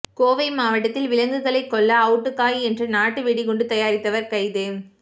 கோவை மாவட்டத்தில் விலங்குகளை கொல்ல அவுட்டுக்காய் என்ற நாட்டு வெடிகுண்டு தயாரித்தவர் கைது